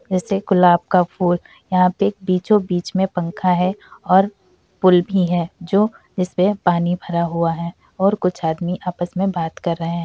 जैसे गुलाब का फूल यहाँ पे बीचो बीच में एक पंखा है और पूल भी है जो जिस पे पानी भरा और कुछ आदमी आपस में बात कर रहे हैं।